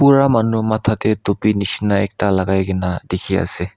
bura manu batha tey dope nishina lakai kina dekhi asa.